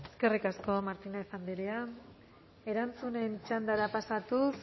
eskerrik asko martínez andrea erantzunen txandara pasatuz